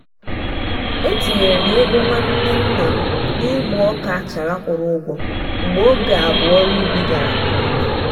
etinyere m ego nwanne nna m n'ịgba ọka achara kwụrụ ụgwọ mgbe oge abụọ ọru ubi gara nke ọma.